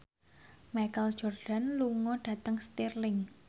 Michael Jordan lunga dhateng Stirling